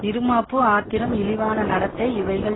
இறுமாப்பு ஆத்திரம் இழிவான நடத்தை இவைகள்